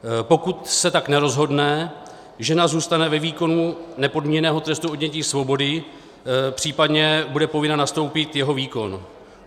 Pokud se tak nerozhodne, žena zůstane ve výkonu nepodmíněného trestu odnětí svobody, případně bude povinna nastoupit jeho výkon.